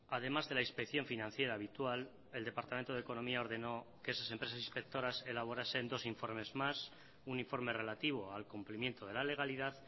además de la inspección financiera habitual el departamento de economía ordenó que esas empresas inspectoras elaborasen dos informes más un informe relativo al cumplimiento de la legalidad